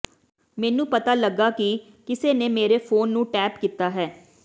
ਮੈਨੂੰ ਪਤਾ ਲੱਗਾ ਕਿ ਕਿਸੇ ਨੇ ਮੇਰੇ ਫੋਨ ਨੂੰ ਟੇਪ ਕੀਤਾ ਹੈ